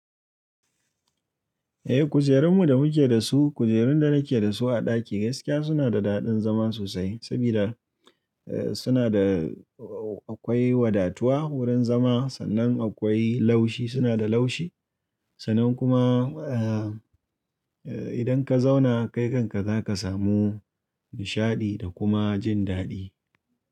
Eh kujerunmu da muke da su, kujerun da nake da su a ɗaki gaskiya suna da daɗin zama sosai sabida eh suna da akwai wadatuwa wurin zama sannan akwai laushi suna da laushi, sannan kuma eh idan ka zauna kai kanka za ka samu nishaɗi da kuma jin daɗi.